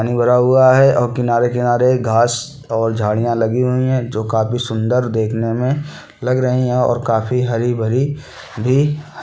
पानी भरा हुआ है और किनारे-किनारे घास और झाड़ियाँ लगीं हुईं है जो काफी सुंदर देखने में लग रहीं है और काफी हरी-भरी भी है।